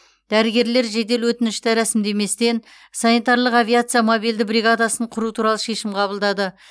дәрігерлер жедел өтінішті рәсімдеместен санитарлық авиация мобильді бригадасын құру туралы шешім қабылдады